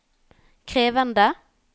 krevende